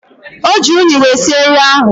Oji unyi wee sie nri ahu